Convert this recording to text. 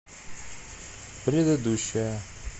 предыдущая